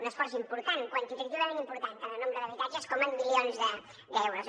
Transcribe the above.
un esforç important quantitativament important tant en nombre d’habitatges com en milions d’euros